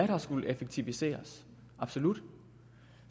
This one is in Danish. har skullet effektiviseres absolut